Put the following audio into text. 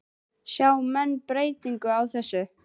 Sjá menn breytingu á þessu?